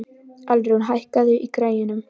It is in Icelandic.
Alrún, hækkaðu í græjunum.